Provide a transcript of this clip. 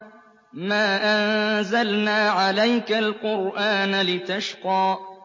مَا أَنزَلْنَا عَلَيْكَ الْقُرْآنَ لِتَشْقَىٰ